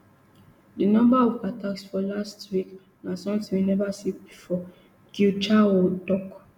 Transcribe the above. di number of attacks for last week na somtin we never see bifor guichaoua tok